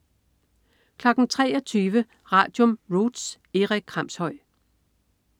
23.00 Radium. Roots. Erik Kramshøj